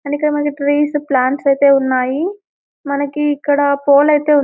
And ఇక్కడ మనకు trees plants అయితే ఉన్నాయి. మనకి ఇక్కడ పోల్ అయితే--